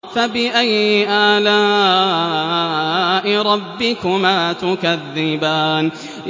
فَبِأَيِّ آلَاءِ رَبِّكُمَا تُكَذِّبَانِ